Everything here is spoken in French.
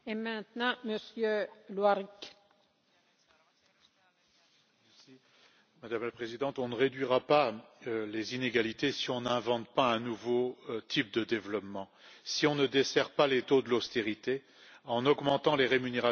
Madame la Présidente, on ne réduira pas les inégalités si on n'invente pas un nouveau type de développement, si on ne desserre pas l'étau de l'austérité en augmentant les rémunérations du travail et les petites et moyennes retraites et si on ne sort pas de la précarité du travail.